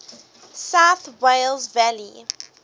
south wales valleys